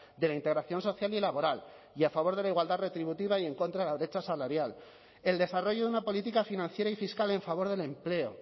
de la integración social y laboral y a favor de la igualdad retributiva y en contra la brecha salarial el desarrollo de una política financiera y fiscal en favor del empleo